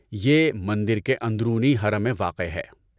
یہ مندر کے اندرونی حرم میں واقع ہے۔